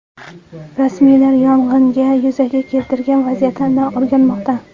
Rasmiylar yong‘inni yuzaga keltirgan vaziyatlarni o‘rganmoqda.